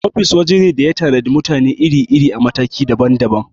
Ofis waje ne da ya tanadi mutane iri-iri a mataki daban daban.